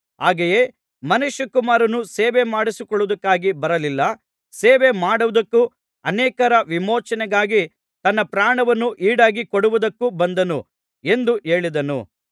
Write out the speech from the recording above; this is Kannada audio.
ಹಾಗೆಯೇ ಮನುಷ್ಯಕುಮಾರನು ಸೇವೆಮಾಡಿಸಿಕೊಳ್ಳುವುದಕ್ಕಾಗಿ ಬರಲಿಲ್ಲ ಸೇವೆ ಮಾಡುವುದಕ್ಕೂ ಅನೇಕರ ವಿಮೋಚನೆಗಾಗಿ ತನ್ನ ಪ್ರಾಣವನ್ನು ಈಡಾಗಿ ಕೊಡುವುದಕ್ಕೂ ಬಂದನು ಎಂದು ಹೇಳಿದನು